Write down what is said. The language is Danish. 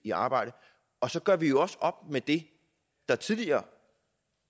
i arbejde og så gør vi jo også op med det der tidligere